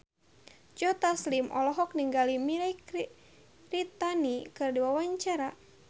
Joe Taslim olohok ningali Mirei Kiritani keur diwawancara